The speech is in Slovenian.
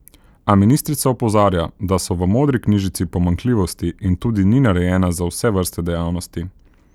A ministrica opozarja, da so v modri knjižici pomanjkljivosti in tudi ni narejena za vse vrste dejavnosti.